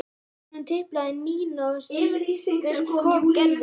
Á eftir honum tiplaði Nína og síðust kom Gerður.